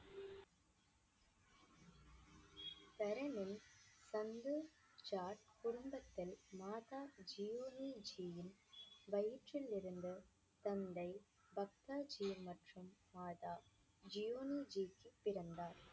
குடும்பத்தில் மாதா ஜியோனிஜியின் வயிற்றிலிருந்து தந்தை பக்தாஜி மற்றும் மாதா ஜியோனிஜிக்கு பிறந்தார்